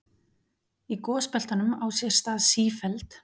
Í gosbeltunum á sér stað sífelld